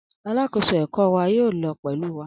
Alakoso ẹkọ wa yoo lọ pẹlu wa.